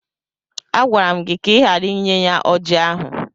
Agwara m gị ka ị ghara inye ya ọjị ahụ!